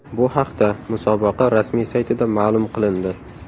Bu haqda musobaqa rasmiy saytida ma’lum qilindi .